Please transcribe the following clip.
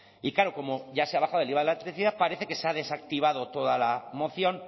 y claro como ya se ha bajado el iva de la electricidad parece que se ha desactivado toda la moción